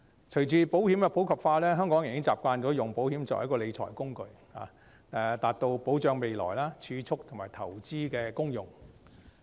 隨着保險的普及化，香港人已經習慣用保險作為理財工具，達到保障未來、儲蓄及投資的功用。